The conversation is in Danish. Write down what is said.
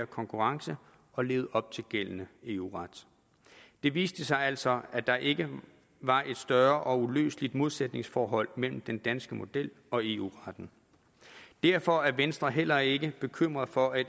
konkurrence og lever op til gældende eu ret det viste sig altså at der ikke var et større og uløseligt modsætningsforhold mellem den danske model og eu retten derfor er venstre heller ikke bekymret for at